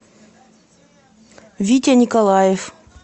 витя николаев